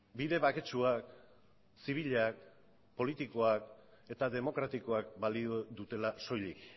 bide baketsuak zibilak politikoak eta demokratikoak balio dutela soilik